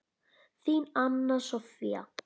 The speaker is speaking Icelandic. Þín, Anna Soffía.